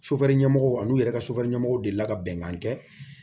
ɲɛmɔgɔw n'u yɛrɛ ka ɲɛmɔgɔw delila ka bɛnkan kɛ